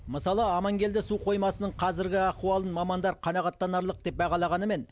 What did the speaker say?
мысалы амангелді су қоймасының қазіргі ахуалын мамандар қанағаттанарлық деп бағалағанымен